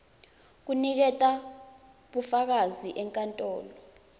kuniketa bufakazi enkantolo